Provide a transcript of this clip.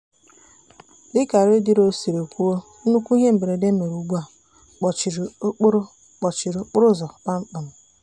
dịka redio siri kwuo nnukwu ihe mberede mere ugbua kpọchiri okporo kpọchiri okporo ụzọ kpamkpam.